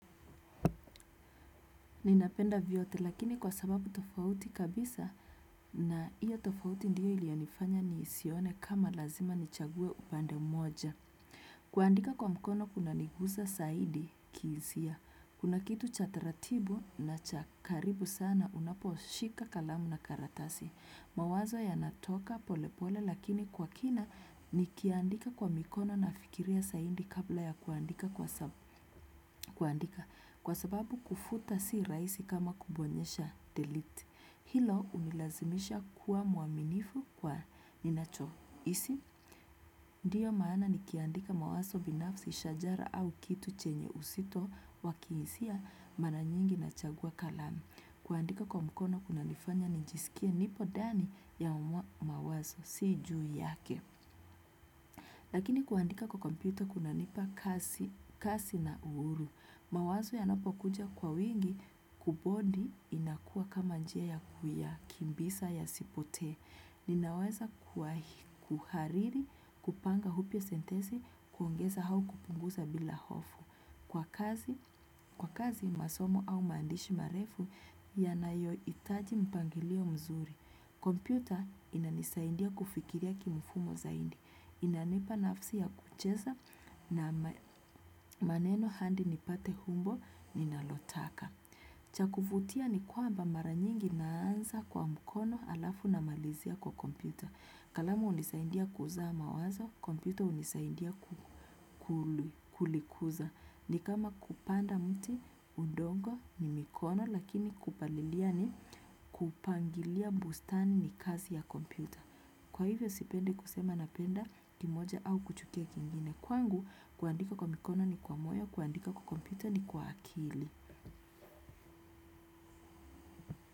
Ninapenda vyote lakini kwa sababu tofauti kabisa na iyo tofauti ndiyo iliyonifanya ni sione kama lazima nichague upande mmoja. Kuandika kwa mkono kuna niguza zaidi kihisia. Kuna kitu chataratibu na chakaribu sana unapo shika kalamu na karatasi. Mawazo ya natoka pole pole lakini kwa kina ni kiandika kwa mikono na fikiria zaidi kabla ya kuandika kwa sababu kufuta si rahisi kama kubonyesha delete. Hilo hunilazimisha kuwa mwaminifu kwa ninacho. Hisi? Ndiyo maana ni kiandika mawazo binafsi shajara au kitu chenye uzito wakihisia maranyingi na chagua kalamu. Kuandika kwa mkono kuna nifanya nijisikie nipo ndani ya mwa mawazo si juu yake. Lakini kuandika kwa kompyuta kuna nipa kasi na uhuru. Mawazo yanapo kuja kwa wingi kubodi inakuwa kama njia ya kuya, kimbiza ya sipote. Ninaweza kuhariri kupanga upya sentensi kuongeza au kupunguza bila hofu. Kwa kazi masomo au maandishi marefu yanayo hitaji mpangilio mzuri. Kompyuta inanisaidia kufikiria kimfumo zaidi. Inanipa nafsi ya kucheza na maneno hadi nipate umbo ninalotaka. Chakuvutia ni kwamba maranyingi naanza kwa mkono alafu na malizia kwa kompyuta. Kalamu hunisaindia kuzaama wazo, kompyuta hunisaidia kulikuza. Ni kama kupanda mti udongo ni mikono lakini kupalilia ni kupangilia bustani ni kazi ya kompyuta. Kwa hivyo sipendi kusema napenda ki moja au kuchukia kingine. Kwangu, kuandika kwa mikono ni kwa moyo, kuandika kwa kompyuta ni kwa akili.